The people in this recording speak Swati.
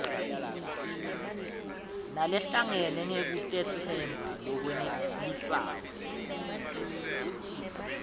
nalehlangene ngekutetsemba lokwenelisako